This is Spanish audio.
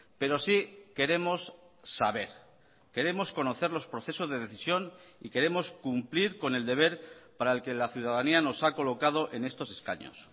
pero sí queremos saber queremos conocer los procesos de decisión y queremos cumplir con el deber para el que la ciudadanía nos ha colocado en estos escaños